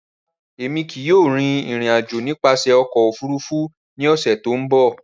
Rárá, Emi kii yóò rin irin-ajo nipasẹ ọkọ ofurufu ni ọsẹ to nbọ.